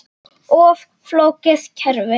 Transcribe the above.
Of flókið kerfi?